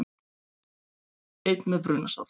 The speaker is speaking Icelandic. Einn með brunasár